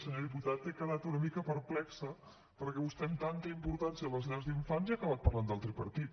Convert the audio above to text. senyor diputat he quedat una mica perplexa perquè vostè amb tanta importància a les llars d’infants i ha acabat parlant del tripartit